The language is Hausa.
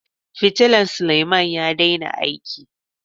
fitilla Suleman ya daina aiki.